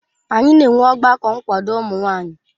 Anyị na-enwe ọgbakọ nkwado ụmụ nwanyị